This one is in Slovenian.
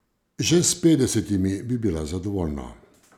Že s petdesetimi bi bila zadovoljna ...